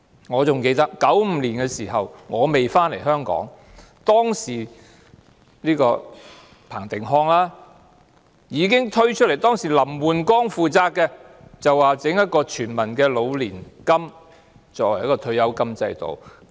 我還記得在1995年的時候——我當時還未返回香港——彭定康已經主張設立老年金計劃，作為全民的退休金制度，由林煥光負責。